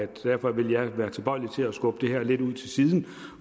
derfor vil jeg være tilbøjelig til at skubbe det her lidt ud til siden